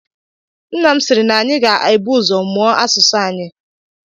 Nna m siiri na anyị ga-ebu ụzọ mụọ asụsụ anyị.